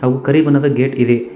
ಒಂ ಕರಿ ಬಣ್ಣದ ಗೇಟ್ ಇದೆ.